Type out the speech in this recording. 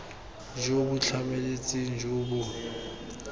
jo bo tlhamaletseng jo bo